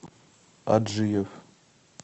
аджиев